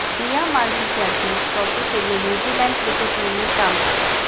डियामांती Champions Trophy के लिए New Zealand cricket team में शामिल